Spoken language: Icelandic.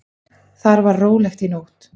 Þar var rólegt í nótt.